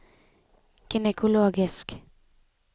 gynekologisk